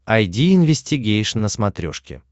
айди инвестигейшн на смотрешке